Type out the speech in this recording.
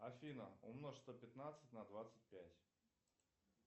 афина умножь сто пятнадцать на двадцать пять